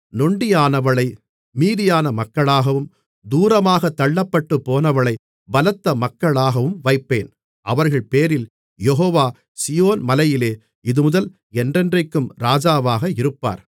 நொண்டியானவளை மீதியான மக்களாகவும் தூரமாகத் தள்ளப்பட்டுப்போனவளைப் பலத்த மக்களாகவும் வைப்பேன் அவர்கள்பேரில் யெகோவா சீயோன் மலையிலே இதுமுதல் என்றென்றைக்கும் ராஜாவாக இருப்பார்